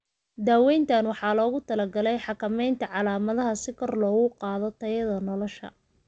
Daaweynta waxaa loogu talagalay xakameynta calaamadaha si kor loogu qaado tayada nolosha.